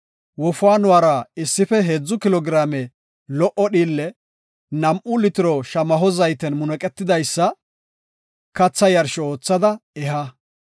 wofaanuwara issife heedzu kilo giraame lo77o dhiille, nam7u litiro shamaho zayten munuqetidaysa katha yarsho oothada eha.